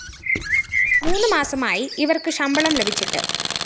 മൂന്ന് മാസമായി ഇവര്‍ക്ക് ശമ്പളം ലഭിച്ചിട്ട്